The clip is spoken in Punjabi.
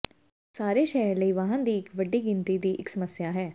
ਸਾਰੇ ਸ਼ਹਿਰ ਲਈ ਵਾਹਨ ਦੀ ਇੱਕ ਵੱਡੀ ਗਿਣਤੀ ਦੀ ਇੱਕ ਸਮੱਸਿਆ ਹੈ